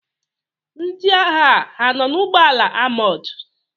Ndị agha anọ n'ụgbọala amọọ̀d?